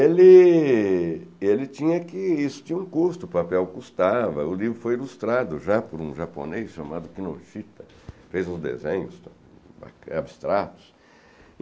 Ele ele tinha que, isso tinha um custo, o papel custava, o livro foi ilustrado já por um japonês chamado Kinoshita, fez uns desenhos abstratos.